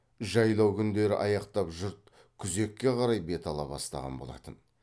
жайлау күндері аяқтап жұрт күзекке қарай бет ала бастаған болатын